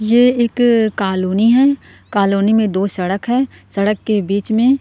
ये एक कॉलोनी है कॉलोनी में दो सड़क है सड़क के बीच में --